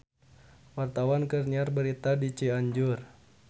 Wartawan keur nyiar berita di Cianjur